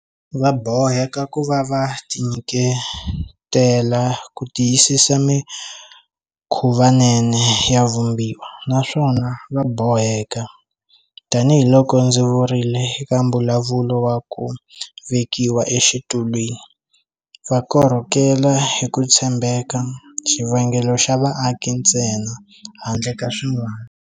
Va boheka ku va va tinyiketela ku tiyisisa mikhuvanene ya Vumbiwa, naswona va boheka, tanihiloko ndzi vurile eka mbulavulo wa ku vekiwa exitulwini, va korhokela hi ku tshembeka xivangelo xa vaaki ntsena handle ka swin'wana.